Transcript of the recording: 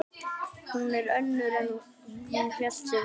Hún er önnur en hún hélt sig vera.